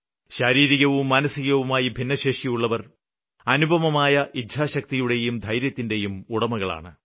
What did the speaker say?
ശാരീരികവും മാനസികവുമായി ഭിന്നശേഷിയുള്ളവര് അനുപമമായ ഇച്ഛാശക്തിയുടെയും ധൈര്യത്തിന്റേയും ഉടമകളാണ്